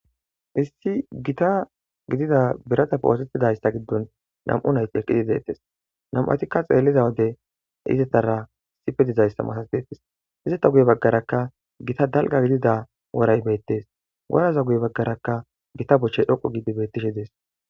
Issi gita gidida birata poosettidayssa giddon nam'u nayti eqqidi deettes nam'atikka xeelliza wode izettara sipe dizayssa matas deettes izeta guye baggarakka gita dalga gidida woray beettes woraza guye baggarakka gita bochche dhoqu gidi bettishe dees.